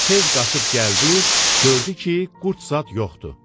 Tez qaçıb gəldi, gördü ki, qurd zad yoxdur.